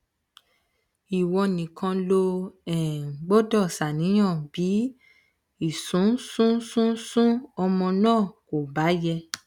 ìwọ nìkan ló um gbọdọ ṣàníyàn bí um ìsúnsúnsúnsún ọmọ náà kò bá yẹ